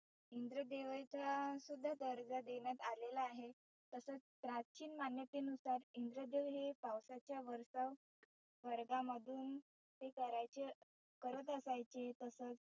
इंद्र देवाचा सुद्धा दर्जा देण्यात आलेला आहे. तसच प्राचीन मान्यते नुसार इंद्रदेव हे पावसाच्या वरचा स्वर्गामधुन ते करायचे करत असायचे तसच